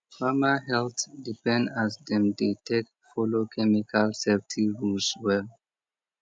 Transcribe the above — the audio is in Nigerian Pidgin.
farmer health depend as dem dey take follow chemical safety rules well